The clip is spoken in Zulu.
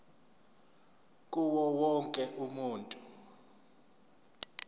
kuwo wonke umuntu